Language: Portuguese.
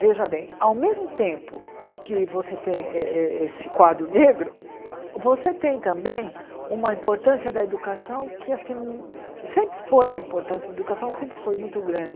Veja bem, ao mesmo tempo que você tem eh eh esse quadro negro, você tem também uma importância da educação que acho que sempre foi a importância da educação, sempre foi muito grande.